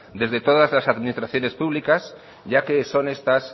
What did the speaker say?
desde todas las administraciones públicas ya que son estas